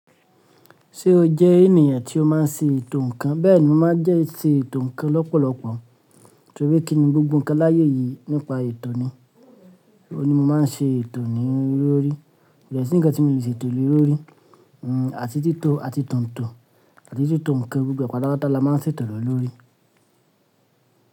Ti o jẹ́ ènìyàn tí ó máa ń ṣe ètò ǹkan? Bẹ́ẹ̀ni, mo má ń jẹ́ ṣe ètò ǹkan lọ́pọ̀lọpọ̀ torí pé kí ni gbogbo ǹkan láyé yìí nípa ètò ni. Òun ni mo má ń ṣe ètò ni olórí. Ko dẹ si nkan tí mi o lè ṣe ètò le lórí, hmm, àti tító àti tòǹtò àti títò ǹkan gbo gbo ẹ pátà pátà la má ń ṣe ètò le lórí.